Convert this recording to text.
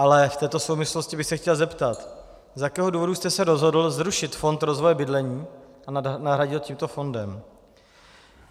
Ale v této souvislosti bych se chtěl zeptat, z jakého důvodu jste se rozhodl zrušit fond rozvoje bydlení a nahradil tímto fondem.